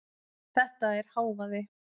Þetta er hávaði.